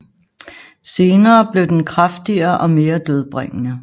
Senere blev den kraftigere og mere dødbringende